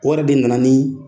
Wari de nana nin